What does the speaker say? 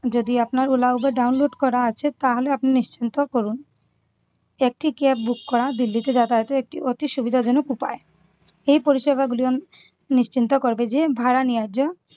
যদি আপনার ola, ubar download করা আছে তাহলে আপনি নিশ্চিন্ত করুন। একটি cab book করা দিল্লিতে যাতায়াতে একটি অতি সুবিধাজনক উপায়। এই পরিষেবা গুলন নিশ্চিন্ত করবে যে ভাড়া ন্যায্য